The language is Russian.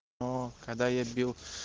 оо когда я бил